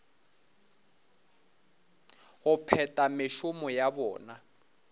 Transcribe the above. go phetha mešomo ya bona